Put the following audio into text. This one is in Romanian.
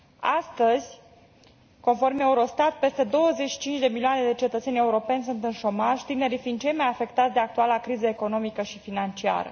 Astăzi, conform EUROSTAT, peste 25 de milioane de cetățeni europeni sunt în șomaj, tinerii fiind cei mai afectați de actuala criză economică și financiară.